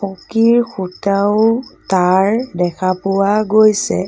পকীৰ খুটাও তাঁৰ দেখা পোৱা গৈছে।